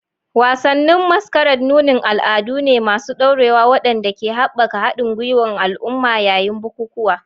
Wasannin masquerade nunin al'adu ne masu ɗorewa waɗanda ke haɓaka haɗin gwiwar al'umma yayin bukukuwa.